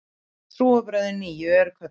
Trúarbrögðin nýju eru kölluð